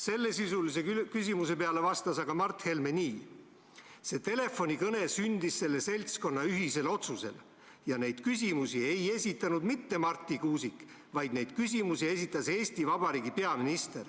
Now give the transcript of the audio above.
Sellesisulise küsimuse peale vastas Mart Helme nii: "See telefonikõne sündis selle seltskonna ühisel otsusel ja neid küsimusi ei esitanud mitte Marti Kuusik, vaid neid küsimusi esitas Eesti Vabariigi peaminister [...